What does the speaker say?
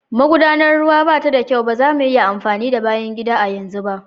Magudanar ruwa ba ta da kyau, ba za mu iya amfani da bayan gida a yanzu ba\